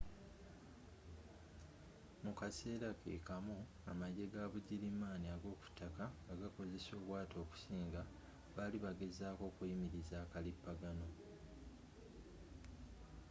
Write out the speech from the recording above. mu kasera ke kamu amajje ga bugirimaani ag'okuttaka nga bakozesa obwato okusinga bali bagezaako okuyimiriza akalipagano